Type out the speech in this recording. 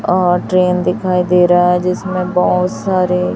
और ट्रेन दिखाई दे रहा है जिसमें बहोत सारे--